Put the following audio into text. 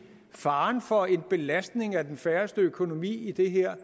faren for en belastning af den færøske økonomi i det her